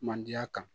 Mandenya kan